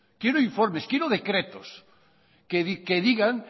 quiero informes quiero decretos que digan